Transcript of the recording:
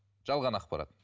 жалған ақпарат